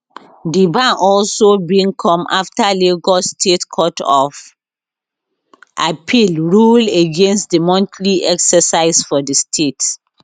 di ban also bin come afta lagos state court of appeal rule against di monthly exercise for di state